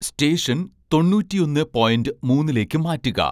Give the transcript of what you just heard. station തൊണ്ണൂറ്റിയൊന്ന് point മൂന്നിലേക്ക് മാറ്റുക